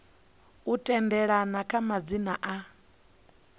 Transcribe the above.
u tendelana kha madzina a